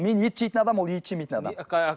мен ет жейтін адаммын ол ет жемейтін адам